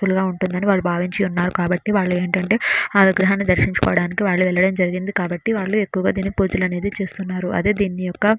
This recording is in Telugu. ఇలా ఉంటుందని వాళ్లు భావించి ఉన్నారు కాబట్టి వాళ్ళు ఏంటంటే ఆ విగ్రహాన్ని దర్శించుకోవడానికి వాళ్ళు వెళ్లడం జరిగింది కాబట్టి వాళ్ళు ఎక్కువగా దీనికి పూజలు అనేది చేస్తున్నారు అదే దీని యొక్క --